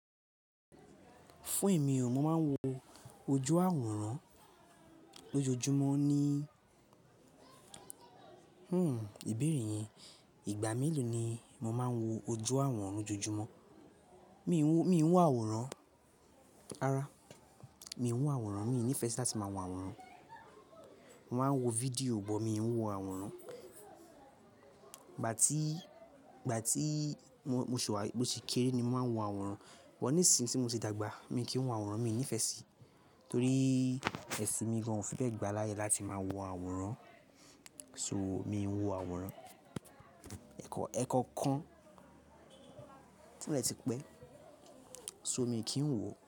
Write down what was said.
Fún èmi o, mo máa ń wo ojú àwòrán lójoojúmọ́ ní, hmm ìbéèrè yẹn, ìgbà mélòó ni mo máa ń wo ojú àwòrán lójoojúmọ́? Mi ò ń wo àwòrán, rárá, mi ò ń wo àwòrán, mi ò nífẹẹ sí láti máa wo àwòrán. Mo máa ń wo fídíò bọ̀, mi ò ń wo àwòrán. Ìgbà tí mo sì kéré ni mo máa ń wo àwòrán, but nìsìín tí mo ti dàgbà mi kì ń wo àwòrán, mi ò nífẹẹ sí, torí ẹṣin mi gan-an ò fi bẹ gbà láyè láti máa wo àwòrán, so mi ò ń wo àwòrán. Ẹ̀ kọ̀okan o dẹ ti pẹ́, so mi kì ń wo.